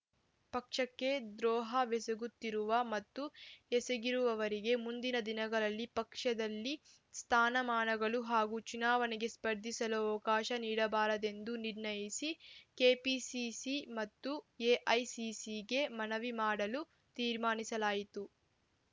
ಪಕ್ಷಕ್ಕೆ ದ್ರೋಹವೆಸಗುತ್ತಿರುವ ಮತ್ತು ಎಸಗಿರುವವರಿಗೆ ಮುಂದಿನ ದಿನಗಳಲ್ಲಿ ಪಕ್ಷದಲ್ಲಿ ಸ್ಥಾನಮಾನಗಳು ಹಾಗೂ ಚುನಾವಣೆಗೆ ಸ್ಪರ್ಧಿಸಲು ಅವಕಾಶ ನೀಡಬಾರದೆಂದು ನಿರ್ಣಯಿಸಿ ಕೆಪಿಸಿಸಿ ಮತ್ತು ಎಐಸಿಸಿಗೆ ಮನವಿ ಮಾಡಲು ತೀರ್ಮಾನಿಸಲಾಯಿತು